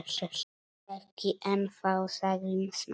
Ekki ennþá- sagði Smári.